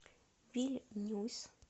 вильнюс